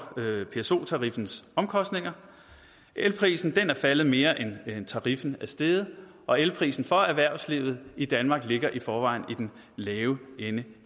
pso tariffens omkostninger elprisen er faldet mere end tariffen er steget og elprisen for erhvervslivet i danmark ligger i forvejen i den lave ende